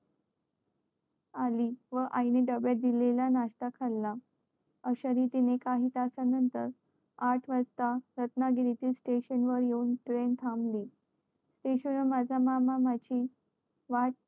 व आई नि डब्यात दिलेला नाष्टा खाला अश्या रीतीने काही तासा नंतर आठ वाजता रत्नागिरी च्या station वर train येऊन थांबली station वर माझा मामा माझी वाट